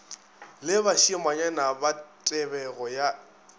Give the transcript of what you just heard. le bašimanyana ba tebego ya